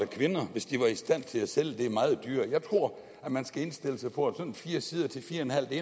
kvinder hvis de var i stand til at sælge den meget dyrere jeg tror at man skal indstille sig på at sådan fire sider til fire